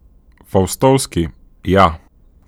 Faustovski, ja.